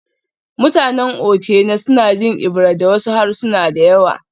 Mutanen Okene suna jin Ebira da wasu harsuna da yawa